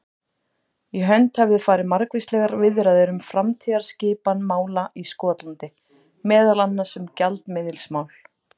Í hönd hefðu farið margvíslegar viðræður um framtíðarskipan mála í Skotlandi, meðal annars um gjaldmiðilsmál.